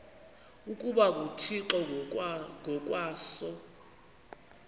ukuba nguthixo ngokwaso